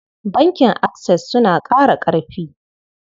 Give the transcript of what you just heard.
Bankin Access suna ƙara ƙarfi.